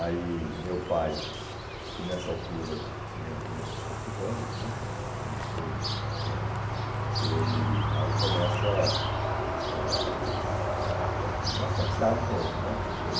Aí meu pai, que nessa altura tinha vinte e poucos anos né, vinte e três, vinte e quatro anos, ele aí começa ãh ãh a mascatear de novo né, quer dizer...